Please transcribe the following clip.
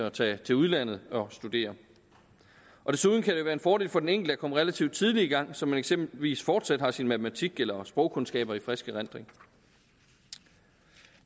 at tage til udlandet og studere desuden kan det være en fordel for den enkelte at komme relativt tidligt i gang så man eksempelvis fortsat har sin matematik eller sprogkundskaber i frisk erindring